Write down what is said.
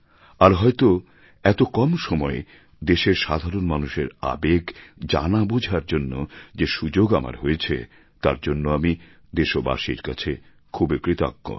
আর হয়ত এত কম সময়ে দেশের সাধারণ মানুষের আবেগ জানা বোঝার জন্য যে সুযোগ আমার হয়েছে তার জন্য আমি দেশবাসীর কাছে খুবই কৃতজ্ঞ